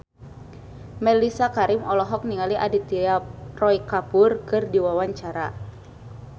Mellisa Karim olohok ningali Aditya Roy Kapoor keur diwawancara